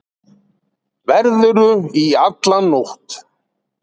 Verðurðu í alla nótt?